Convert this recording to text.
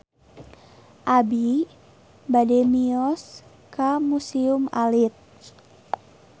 Abi bade mios ka Museum Alit